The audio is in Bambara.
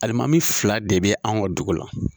Alimami fila de be anw ka dugu la.